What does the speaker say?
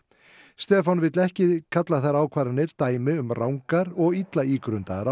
Stefán vill ekki kalla þær ákvarðanir dæmi um rangar ákvarðanir og illa ígrundaðar